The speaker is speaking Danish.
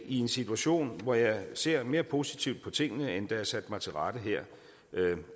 en situation hvor jeg ser mere positivt på tingene end da jeg satte mig til rette her